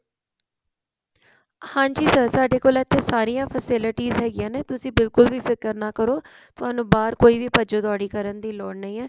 ਹਾਂਜੀ sir ਸਾਡੇ ਕੋਲ ਇੱਥੇ ਸਾਰੀਆਂ facilities ਹੈਗੀਆਂ ਨੇ ਤੁਸੀਂ ਬਿਲਕੁਲ ਵੀ ਫਿਕਰ ਨਾ ਕਰੋ ਥੋਨੂੰ ਬਾਹਰ ਕੋਈ ਵੀ ਭੱਜਾ ਦੋੜੀ ਕਰਨ ਦੀ ਲੋੜ ਨਹੀਂ ਹੈ